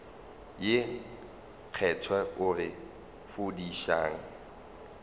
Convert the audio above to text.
ye kgethwa o re fodišang